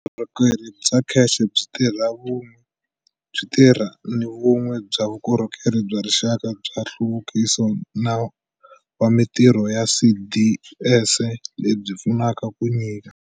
Vukorhokeri bya CACH byi tirha ni vun'we bya vukorhokeri bya Rixaka bya Nhluvukiso wa Mitirho, CDS, lebyi pfunaka ku nyika